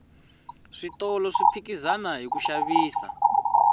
switolo swi ohikizana hiku xavisa